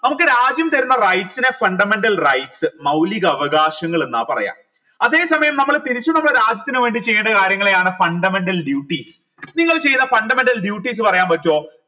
നമുക്ക് രാജ്യം തരുന്ന rights നെ fundamental rights മൗലിക അവകാശങ്ങൾ എന്ന പറയാ അതെ സമയം നമ്മൾ തിരിച്ച് നമ്മളെ രാജ്യത്തിന് വേണ്ടി ചെയേണ്ട കാര്യങ്ങളെയാണ് fundamental duty നിങ്ങൾ ചെയ്ത fundamental duties പറയാൻ പറ്റുഓ